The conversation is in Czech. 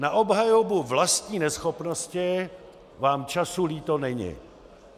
Na obhajobu vlastní neschopnosti vám času líto není.